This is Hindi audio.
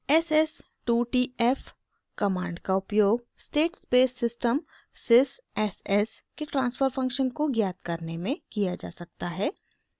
s s 2 t f command का उपयोग state space system sys s s के ट्रांसफर फंक्शन को ज्ञात करने में किया जा सकता है